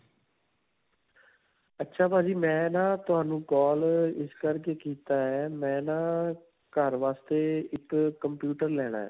ਅੱਛਾ ਭਾਜੀ ਮੈਂ ਨਾ ਤੁਹਾਨੂੰ call ਅਅ ਇਸ ਕਰਕੇ ਕੀਤਾ ਹੈ. ਮੈਂ ਨਾ ਘਰ ਵਾਸਤੇ ਇੱਕ computer ਲੈਣਾ ਹੈ.